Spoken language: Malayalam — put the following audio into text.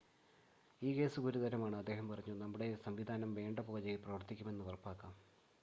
ഈ കേസ് ഗുരുതരമാണ് അദ്ദേഹം പറഞ്ഞു നമ്മുടെ സംവിധാനം വേണ്ട പോലെ പ്രവർത്തിക്കുന്നെന്ന് ഉറപ്പാക്കാം